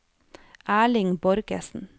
Erling Borgersen